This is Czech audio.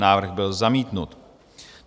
Návrh byl zamítnut.